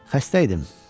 Xəstə idim.